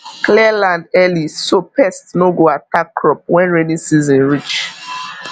clear land early so pest no go attack crop when rainy season reach